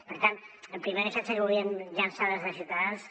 per tant el primer missatge que volíem llançar des de ciutadans